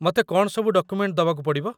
ମତେ କ'ଣ ସବୁ ଡକୁମେଣ୍ଟ ଦବାକୁ ପଡ଼ିବ?